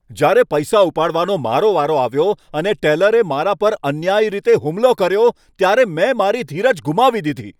જ્યારે પૈસા ઉપાડવાનો મારો વારો આવ્યો અને ટેલરે મારા પર અન્યાયી રીતે હુમલો કર્યો, ત્યારે મેં તેની સાથે મારી ધીરજ ગુમાવી દીધી.